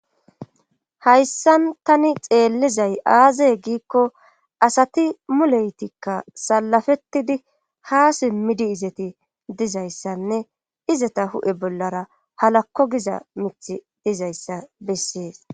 Hayssan tani xeellizay aazaye giikko asati muleytikka salafettidi ha simmidi izati dizayssanne izata hu7e bollara halakko giza mithi dizayssa bessees.